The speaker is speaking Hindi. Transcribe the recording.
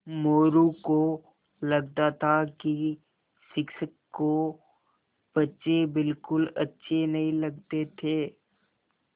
मोरू को लगता था कि शिक्षक को बच्चे बिलकुल अच्छे नहीं लगते थे